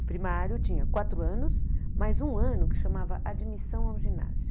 O primário tinha quatro anos, mais um ano que chamava admissão ao ginásio.